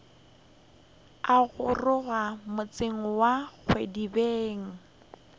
a goroga motseng wa kgwadibeng